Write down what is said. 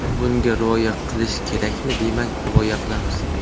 Bunga rioya qilish kerakmi, demak rioya qilamiz.